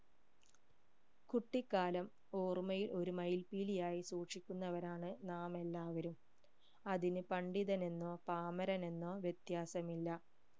കുട്ടിക്കാലം ഓർമ്മയിൽ ഒരു മയിൽപ്പീലി ആയി സൂക്ഷിക്കുന്നവരാണ് നാമെല്ലാവരും അതിന് പണ്ഡിതനെന്നോ പാമരനെന്നോ വ്യത്യാസമില്ല